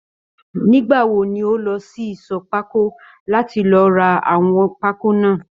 Nígbàwo ni o lọ sí ìṣọ̀ pákó láti lọ rà àwọn pákó náà?